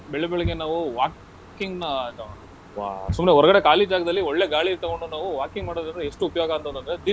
ಬೆಳ್ ಬೇಳಗ್ಗೇ ನಾವು walking ನಾ ಏನೊ ವಾ~ ಸುಮ್ನೆ ಹೊರ್ಗಡೆ ಖಾಲಿ ಜಾಗದಲ್ಲಿ ಒಳ್ಳೆ ಗಾಳಿ ತಗೊಂಡು ನಾವು walking ಮಾಡೋದಂದ್ರೆ ಎಷ್ಟು ಉಪಯೋಗ ಅಂತಂತಂದ್ರೆ.